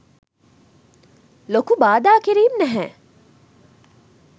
ලොකු බාධා කිරීම් නැහැ.